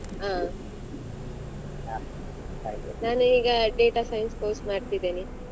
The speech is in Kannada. ಹ ನಾನ್ ಈಗ data science course ಮಾಡ್ತಿದ್ದೇನೆ.